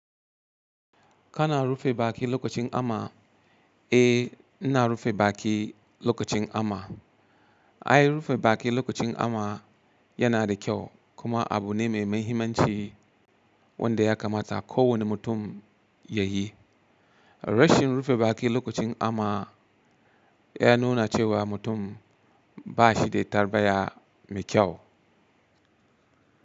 Kana rufe baki lokacin ama? Eh, ina rufe baki lokacin ama. Ai rufe baki lokacin ama yana da kyau kuma abu ne mai mahimmanci wanda ya kamata kowane mutum ya yi. Rashin rufe baki lokacin ama ya nuna cewa mutum ba shi da tarbayya mai kyau.